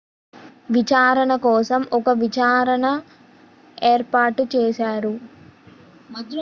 విచారణ కోసం ఒక విచారణ ఏర్పాటు చేశారు